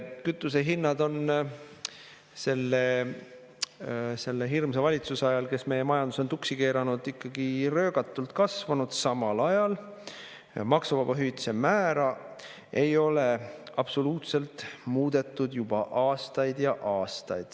Kütusehinnad on selle hirmsa valitsuse ajal, kes meie majanduse on tuksi keeranud, ikka röögatult kasvanud, samal ajal ei ole maksuvaba hüvitise määra muudetud juba aastaid ja aastaid.